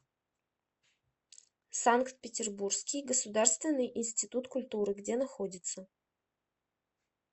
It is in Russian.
санкт петербургский государственный институт культуры где находится